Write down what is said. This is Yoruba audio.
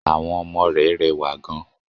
Àwọn ọmọ re rẹwà gan